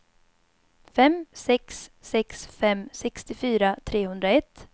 fem sex sex fem sextiofyra trehundraett